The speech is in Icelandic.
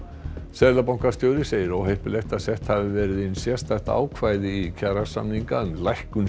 seðlabankastjóri segir óheppilegt að sett hafi verið inn sérstakt ákvæði í kjarasamningana um lækkun